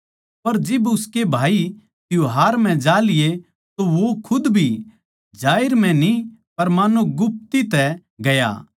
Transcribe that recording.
पर जिब उसके भाई त्यौहार म्ह जा लिए तो वो खुद भी जाहिर म्ह न्ही पर मान्नो गुप्ती तै गया